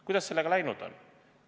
Kuidas sellega läinud on?